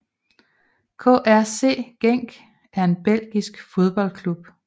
KRC Genk er en belgisk fodboldklub